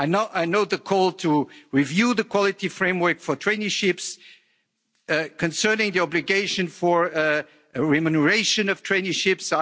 I know the call to review the quality framework for traineeships concerning the obligation for remuneration of traineeships.